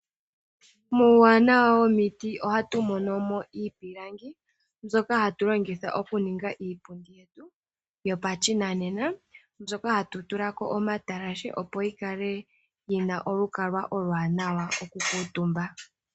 Yimwe yomuuwanawa womiti ohamu zi yimwe yomiihongomwa ngaashi iipilangi mbyoka hayi longithwa okuningwa iipundi yetu yopashinanena, mbyoka hayi tulwa omatalashe opo yivule okukuutumbwa.